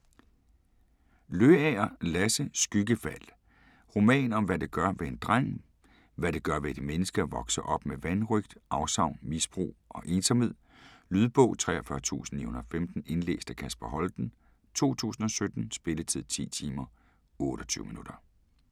Løager, Lasse: Skyggefald Roman om hvad det gør ved en dreng, hvad det gør ved et menneske at vokse op med vanrøgt, afsavn, misbrug og ensomhed. Lydbog 43915 Indlæst af Kasper Holten, 2017. Spilletid: 10 timer, 28 minutter.